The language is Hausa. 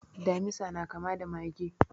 Damisa na kama da mage?